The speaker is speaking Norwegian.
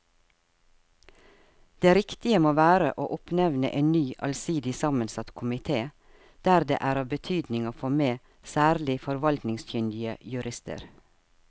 Det riktige må være å oppnevne en ny allsidig sammensatt komite der det er av betydning å få med særlig forvaltningskyndige jurister.